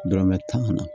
Dɔrɔmɛ tan kana